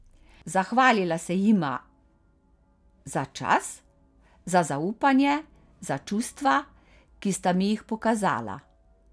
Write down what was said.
Zahvalila se jima za čas, za zaupanje, za čustva, ki sta mi jih pokazala.